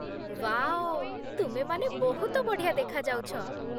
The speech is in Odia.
ୱାଓ, ତୁମେମାନେ ବହୁତ ବଢ଼ିଆ ଦେଖାଯାଉଛ ।